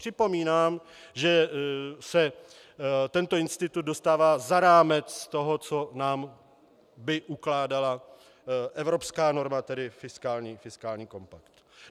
Připomínám, že se tento institut dostává za rámec toho, co by nám ukládala evropská norma, tedy fiskální kompakt.